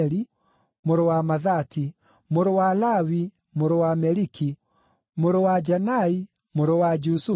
mũrũ wa Mathati, mũrũ wa Lawi, mũrũ wa Meliki, mũrũ wa Janai, mũrũ wa Jusufu,